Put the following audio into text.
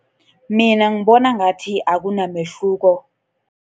Mina ngibona ngathi akunamehluko.